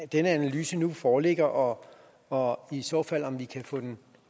denne analyse nu foreligger og og i så fald om vi så kan få den